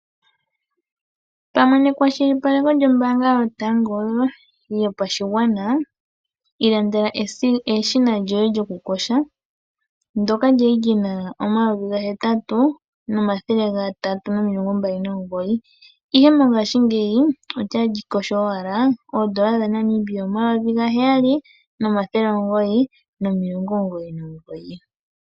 Pamwe neshikwashilipaleko lyombaanga yotango yopashigwana ilandela eshina lyoye lyokuyoga, ndyoka lya li li na N$ 8 329, ihe mongashingeyi otali kotha owala N$ 7 999.